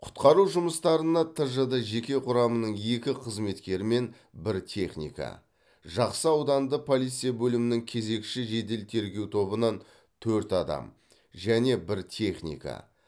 құтқару жұмыстарына тжд жеке құрамының екі қызметкері мен бір техника жақсы ауданды полиция бөлімінің кезекші жедел тергеу тобынан төрт адам және бір техника